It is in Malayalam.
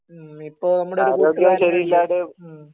ഇപ്പൊ നമ്മുടെ ഒരു മ്മ്ഹ്